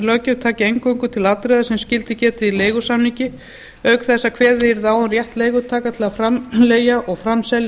löggjöf tæki eingöngu til atriða sem skyldi getið í leigusamningi auk þess að kveðið yrði á um rétt leigutaka til að framleigja og framselja